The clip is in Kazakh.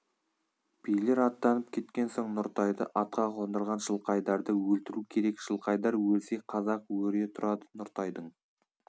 билер аттанып кеткен соң нұртайды атқа қондырған жылқайдарды өлтіру керек жылқайдар өлсе қазақ өре тұрады нұртайдың